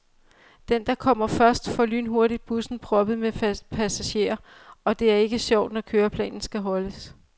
Den, der kommer først, får lynhurtigt bussen proppet med passagerer, og det er ikke sjovt, når køreplanen skal holdes.